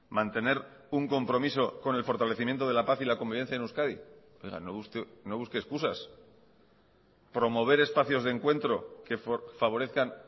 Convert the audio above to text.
mantener un compromiso con el fortalecimiento de la paz y la convivencia en euskadi oiga no busque excusas promover espacios de encuentro que favorezcan